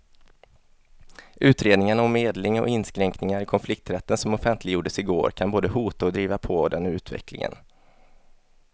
Utredningen om medling och inskränkningar i konflikträtten som offentliggjordes i går kan både hota och driva på den utvecklingen.